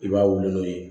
I b'a wuli n'o ye